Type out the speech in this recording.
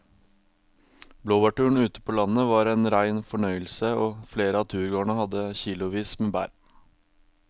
Blåbærturen ute på landet var en rein fornøyelse og flere av turgåerene hadde kilosvis med bær.